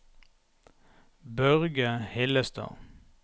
Børge Hillestad